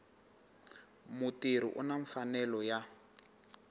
mutirhi u na mfanelo ya